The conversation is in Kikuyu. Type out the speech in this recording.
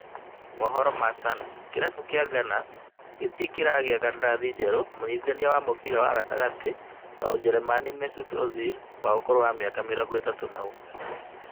Mohoro ma Sun, kĩrabu kĩa Gunners gĩtirĩ kĩragĩa kandarathi njerũ mũnyitithania wa mũbĩra wa gatagatĩ wa Ũjerũmani Mesut Ozil wa ũkũrũ wa mĩaka mĩrongo ĩtatũ na ũmwe